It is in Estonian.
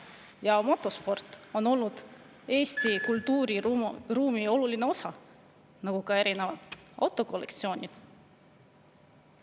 Ja motosport on olnud Eesti kultuuriruumi oluline osa, nagu ka erinevad autokollektsioonid.